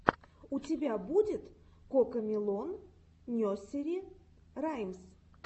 у тебя будет кокомелон несери раймс